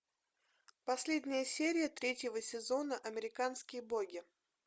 последняя серия третьего сезона американские боги